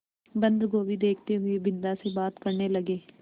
बन्दगोभी देखते हुए बिन्दा से बात करने लगे